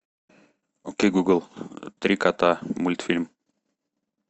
окей гугл три кота мультфильм